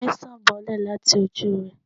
omí sán bolè latí ojú re